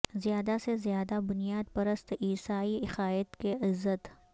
زیادہ سے زیادہ بنیاد پرست عیسائی عقائد کی عزت